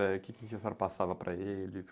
É, quê que a senhora passava para eles?